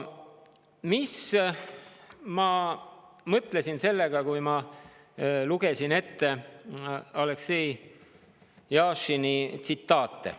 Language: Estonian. Mida ma mõtlesin sellega, kui Aleksei Jašini tsitaate ette lugesin?